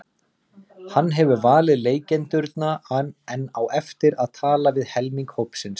Hann hefur valið leikendurna en á eftir að tala við helming hópsins.